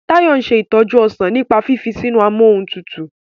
Tayo nse itoju ọsán nípa fífi sínú Amóhuntutù.